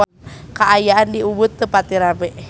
Kaayaan di Ubud teu pati rame